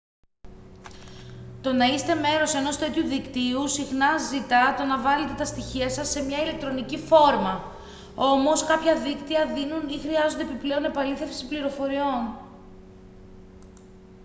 το να είστε μέρος ενός τέτοιου δικτύου συχνά ζητά το να βάλετε τα στοιχεία σας σε μια ηλεκτρονική φόρμα όμως κάποια δίκτυα δίνουν ή χρειάζονται επιπλέον επαλήθευση πληροφοριών